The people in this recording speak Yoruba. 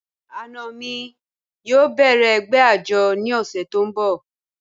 Ana mi yóò bẹ̀rẹ̀ ẹ̀gbẹ́ ajọ̀ ni ọṣẹ̀ ti ǹ bọ̀